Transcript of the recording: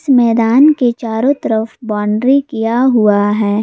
मैदान के चारों तरफ बाउंड्री किया हुआ है।